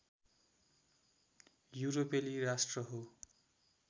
युरोपेली राष्ट्र हो